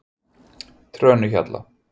Trönuhjalla